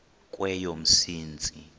kweyomsintsi